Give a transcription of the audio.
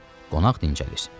Qonaq dincəlir.